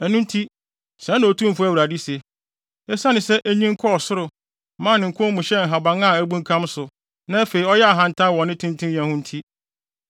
“ ‘Ɛno nti, sɛɛ na Otumfo Awurade se: Esiane sɛ enyin kɔɔ soro, maa ne nkɔn mu hyɛɛ nhaban a abunkam so, na afei ɔyɛɛ ahantan wɔ ne tentenyɛ ho nti,